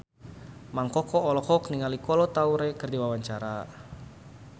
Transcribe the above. Mang Koko olohok ningali Kolo Taure keur diwawancara